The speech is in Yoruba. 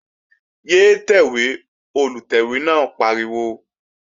Yé tẹ̀wé! Olùtẹ̀wé náà pariwo